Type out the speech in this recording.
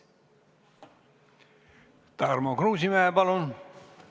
Tarmo Kruusimäe, palun!